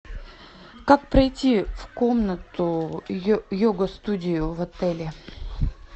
как пройти в комнату йога студию в отеле